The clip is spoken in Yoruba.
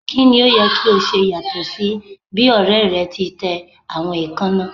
Kini o yẹ ki o ṣe yatọ si bi ọrẹ rẹ ti tẹ awọn eekanna?